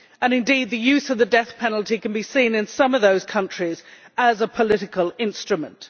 Indeed, the use of the death penalty can be seen in some of those countries as a political instrument.